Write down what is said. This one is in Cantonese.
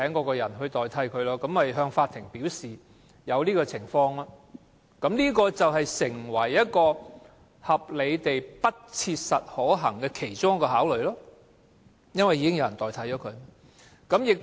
僱主是可以向法院反映這種情況的，而這亦會成為合理地不切實可行的考慮，原因是已另聘員工替代。